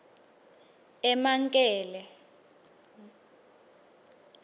emankele